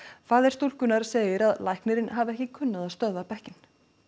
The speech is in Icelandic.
faðir hennar segir að læknirinn hafi ekki kunnað að stöðva bekkinn